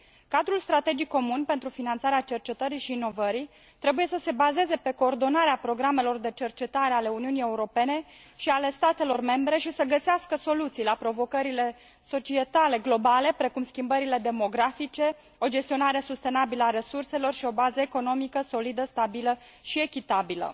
Cadrul strategic comun pentru finanțarea cercetării și inovării trebuie să se bazeze pe coordonarea programelor de cercetare ale Uniunii Europene și ale statelor membre și să găsească soluții la provocările societale globale, precum schimbările demografice, o gestionare sustenabilă a resurselor și o bază economică solidă, stabilă și echitabilă.